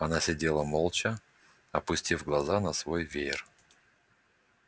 она сидела молча опустив глаза на свой веер